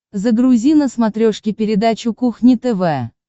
загрузи на смотрешке передачу кухня тв